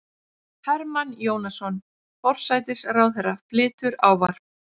Hermann Jónasson, forsætisráðherra, flytur ávarp.